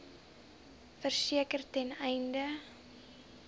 verseker ten einde